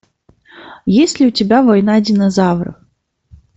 есть ли у тебя война динозавров